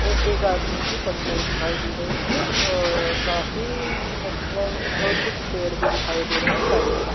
और एक आदमी की परछाई दिखाई दे रहे है अ काफी मतलब कुछ पेड़ भी दिखाई दे रहे है साइड में।